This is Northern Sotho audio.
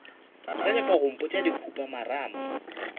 sa nyaka go mpotša dikhupamarama